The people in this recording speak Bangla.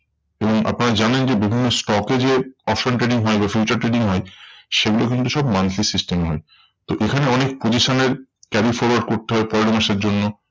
এবং আপনারা জানেন যে, বিভিন্ন stock এ যে option trading হয় বা future trading হয়, সেগুলো কিন্তু সব monthly system এ হয়। তো এখানে অনেক position এর carry forward করতে হয় পরের মাসের জন্য।